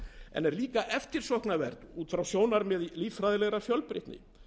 en er jafnframt eftirsóknarvert út frá sjónarmiði líffræðilegrar fjölbreytni